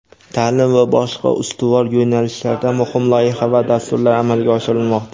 ta’lim va boshqa ustuvor yo‘nalishlarda muhim loyiha va dasturlar amalga oshirilmoqda.